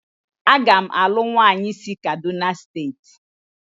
Agam alu nwanyi si kaduna state